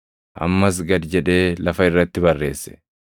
Ammas gad jedhee lafa irratti barreesse.